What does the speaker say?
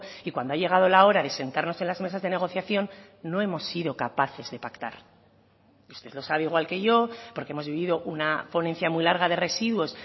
y cuando ha llegado la hora de sentarnos en las mesas de negociación no hemos sido capaces de pactar usted lo sabe igual que yo porque hemos vivido una ponencia muy larga de residuos